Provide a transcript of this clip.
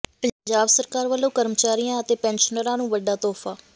ਪੰਜਾਬ ਸਰਕਾਰ ਵਲੋਂ ਕਰਮਚਾਰੀਆਂ ਅਤੇ ਪੈਨਸ਼ਨਰਾਂ ਨੂੰ ਵੱਡਾ ਤੋਹਫ਼ਾ